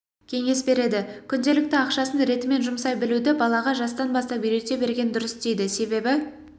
кеңес береді күнделікті ақшасын ретімен жұмсай білуді балаға жастан бастап үйрете берген дұрыс дейді себебі